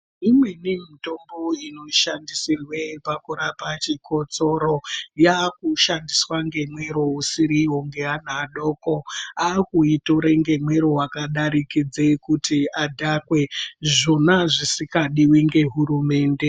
Imwe ndeiimwe yemutombo ino shandisirwe pakurapa chikosoro yaaku shandiswa nemwero usiriwo neana adoko aakuyitora ngemwero wakadarikidze kuti adhakwe, zvona zvisingadiwe nehurumende .